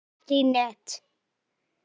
Bara ekki í net.